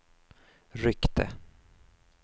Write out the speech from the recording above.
ryckte